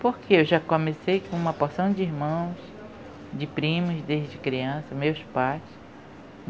Porque eu já comecei com uma porção de irmãos, de primos desde criança, meus pais.